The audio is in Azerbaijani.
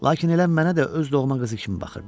Lakin elə mənə də öz doğma qızı kimi baxırdı.